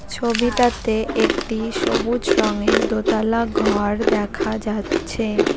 ছবিটাতে একটি সবুজ রঙের দোতলা ঘর দেখা যাচ্ছে।